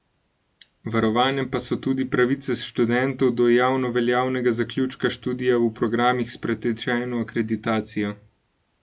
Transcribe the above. Varovane pa so tudi pravice študentov do javnoveljavnega zaključka študija v programih s pretečeno akreditacijo.